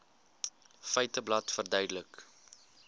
feiteblad verduidelik